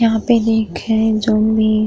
यहाँ पे ही खे जोम् बी --